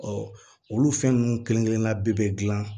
olu fɛn ninnu kelen kelenna bɛɛ bɛ dilan